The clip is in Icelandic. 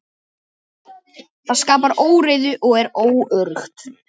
Það skapar óreiðu og er óöruggt.